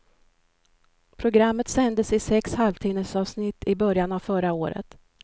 Programmet sändes i sex halvtimmesavsnitt i början av förra året.